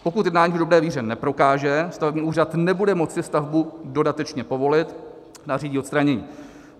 Pokud jednání v dobré víře neprokáže, stavební úřad nebude moci stavbu dodatečně povolit a nařídí odstranění.